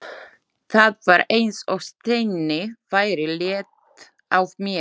Það var eins og steini væri létt af mér.